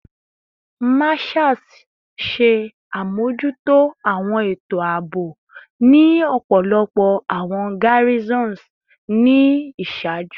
Marshals ṣe amojuto awọn eto aabo ni ọpọlọpọ awọn garrisons ni iṣaaju